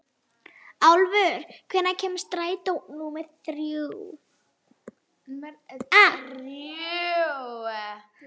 Álfur, hvenær kemur strætó númer þrjú?